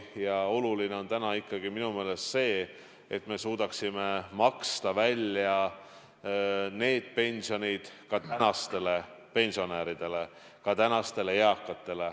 Ja oluline on täna ikkagi minu meelest see, et me suudaksime maksta välja pensionid ka tänastele pensionäridele, tänastele eakaetele.